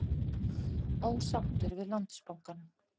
Ósáttur við Landsbankann